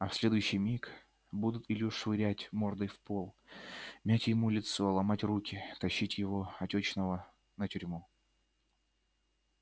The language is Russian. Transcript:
а в следующий миг будут илью швырять мордой в пол мять ему лицо ломать руки тащить его отёчного на тюрьму